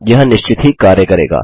यह निश्चित ही कार्य करेगा